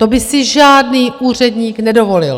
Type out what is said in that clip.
To by si žádný úředník nedovolil.